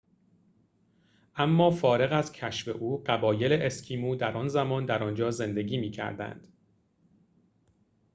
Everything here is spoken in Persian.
اما فارغ از کشف او قبایل اسکیمو در آن زمان در آنجا زندگی می‌کردند